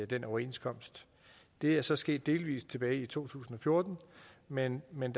den overenskomst det er så sket delvis tilbage i to tusind og fjorten men men